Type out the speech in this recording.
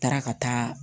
N taara ka taa